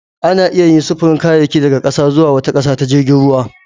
Ana iya yin sufurin kayayyaki daga ƙasa zuwa wata ƙasar ta jirgin ruwa